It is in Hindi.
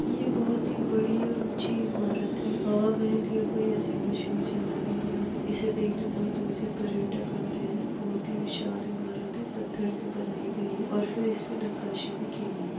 यह बहोत ही बड़ी और ऊंची इमारत है। हवा महल या कोई ऐसी मशहूर जगह है यहाँ ये इसे देखने दूर-दूर से पर्यटक आते है। बहोत ही विशाल इमारत है। पत्थर से बनाई गई है और फिर इस पे नक्काशी भी की गई है।